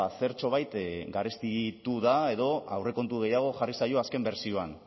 zertxobait garestitu da edo aurrekontu gehiago jarri zaio azken bertsioan